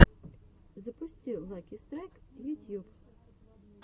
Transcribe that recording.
запусти лаки страйк ютьюб